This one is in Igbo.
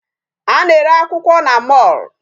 A na-ere akwụkwọ na mall.